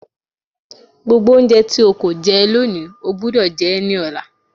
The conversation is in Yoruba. Gbogbo oúnjẹ tí o kò jẹ lónìí, o gbúdọ̀ jẹ ẹ́ ní ọ̀la.